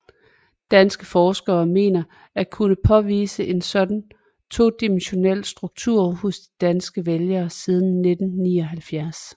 Danske forskere mener at kunne påvise en sådan todimensionel struktur hos de danske vælgere siden 1979